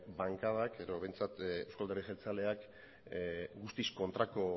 bankadak edo behintzat euzko alderdi jeltzaleak guztiz kontrako